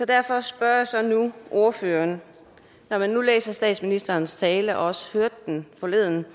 derfor spørger jeg så ordføreren nu når man læser statsministerens tale og også hørte den forleden